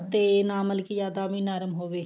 ਤੇ ਨਾ ਮਤਲਬ ਕੀ ਵੀ ਜਿਆਦਾ ਨਰਮ ਹੋਵੇ